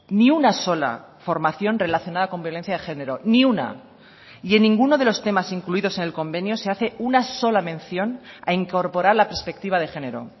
ni una sola formación relacionada con violencia de género ni una y en ninguno de los temas incluidos en el convenio se hace una sola mención a incorporar la perspectiva de género